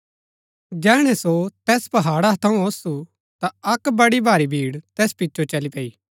जैहणै सो तैस पहाड़ा थऊँ ओसु ता अक्क बड़ी भारी भीड़ तैस पिचो चली पैई